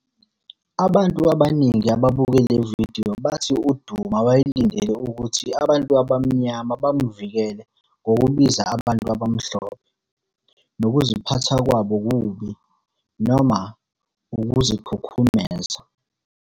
Abantu abaningi ababuke le vidiyo bathi uDuma wayelindele ukuthi abantu abaMnyama bamvikele ngokubiza abantu abamhlophe "nokuziphatha kwabo okubi" noma "ukuzikhukhumeza".